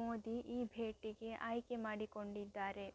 ಮೋದಿ ಈ ಭೇಟಿಗೆ ಆಯ್ಕೆ ಮಾಡಿಕೊಂಡಿದ್ದಾರೆ